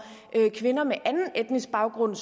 kvinder med anden etnisk baggrund